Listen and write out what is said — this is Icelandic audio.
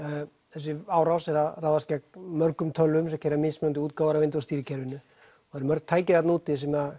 þessi árás er að ráðast gegn mörgum tölvum sem gera mismunandi útgáfur af Windows stýrikerfinu það eru mörg tæki þarna úti sem